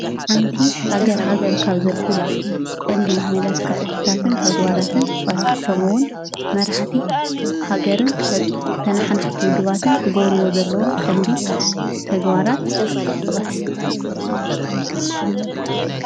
ሓንቲ ሃገር ሃገር ካብ ዘብላ ቀንዲ መለክዕታትን ተግባራትን ጥቐስ? ከምኡውን መራሕቲ ሃገርን ተነሓናሕቲ ውድባትን ክገብርዎ ዘለዎም ቀንዲ ተግባራት ጥቐስ?